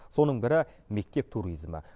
соның бірі мектеп туризмі